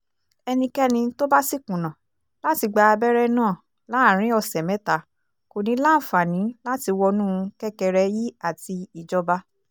ẹnikẹ́ni tó bá sì kùnà láti gba abẹ́rẹ́ náà láàrin ọ̀sẹ̀ mẹ́ta kò ní í láǹfààní láti wọnú kẹ́kẹrẹíàti ìjọba